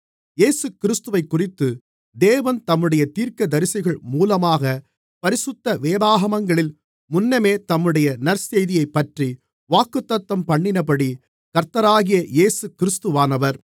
இயேசுகிறிஸ்துவைக்குறித்து தேவன் தம்முடைய தீர்க்கதரிசிகள் மூலமாகப் பரிசுத்த வேதாகமங்களில் முன்னமே தம்முடைய நற்செய்தியைப்பற்றி வாக்குத்தத்தம்பண்ணினபடி கர்த்தராகிய இயேசுகிறிஸ்துவானவர்